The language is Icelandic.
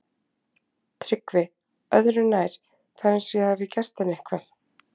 TRYGGVI: Öðru nær, það er eins og ég hafi gert henni eitthvað.